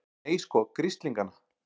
Nei, sko grislingana!